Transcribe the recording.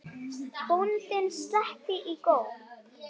Bóndinn sletti í góm.